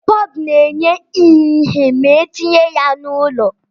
Bọọbu na-enye ihe ma etinye ya n'ụlọ